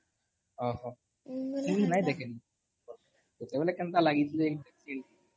ଲାଗ୍ସି ନି କେଁ? ଭଲ ଖେଲସି ବି